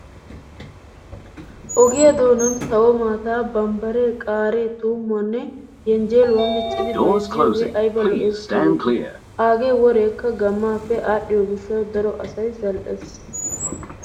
Ogiyaa doonan sawo maataa, bambbare qaariyaa, tuummuwaanne yenjjeeluwaa miccidi bayizziyooge ayiba lo''es giideti. aagee woreekka gammaappe aaddhdhiyoo gishshawu daro asayi zal''es.